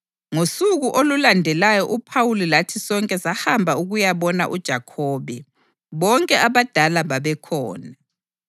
Ngosuku olulandelayo uPhawuli lathi sonke sahamba ukuyabona uJakhobe, bonke abadala babekhona.